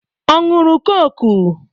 Ọ ṅụrụ kọ́kụ?